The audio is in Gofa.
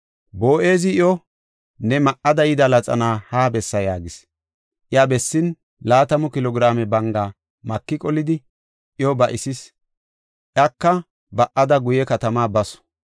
Boo7ezi iyo, “Ne ma7ida yida laxana ha bessa” yaagis. Iya bessin laatamu kilo giraame banga maki qolidi iyo ba7isis. Ika ba7ada guye katama basu.